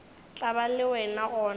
tla ba le wena gona